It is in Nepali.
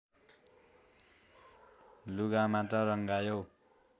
लुगा मात्र रङ्गायौ